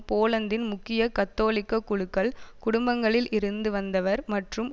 போலந்தின் முக்கிய கத்தோலிக்க குழுக்கள் குடும்பங்களில் இருந்த வந்தவர் மற்றும்